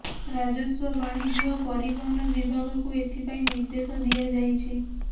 ରାଜସ୍ୱ ବାଣିଜ୍ୟ ଓ ପରିବହନ ବିଭାଗକୁ ଏଥିପାଇଁ ନିର୍ଦ୍ଦେଶ ଦିଆଯାଇଛି